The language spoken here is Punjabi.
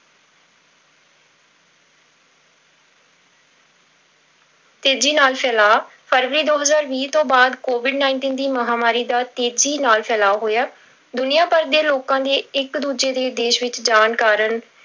ਤੇਜੀ ਨਾਲ ਫੈਲਾਅ, ਫਰਵਰੀ ਦੋ ਹਜ਼ਾਰ ਵੀਹ ਤੋਂ ਬਾਅਦ covid nineteen ਦੀ ਮਹਾਂਮਾਰੀ ਦਾ ਤੇਜ਼ੀ ਨਾਲ ਫੈਲਾਅ ਹੋਇਆ, ਦੁਨੀਆ ਭਰ ਦੇ ਲੋਕਾਂ ਦੇ ਇੱਕ ਦੂਜੇ ਦੇ ਦੇਸ ਵਿੱਚ ਜਾਣ ਕਾਰਨ